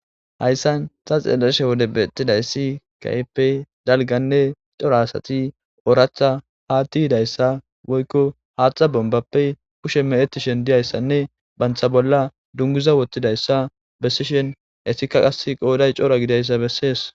hayssan xa xeeleshe wode beettidayssi kaype dalganne cora asati oratha ha tihidayssa woykko haaxa bombappe kushe me7etishen diyayssanne bantha bolla dunguza wottidayssa bessishen esikka qas qooday cora gidayssa bessees